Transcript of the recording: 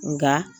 Nka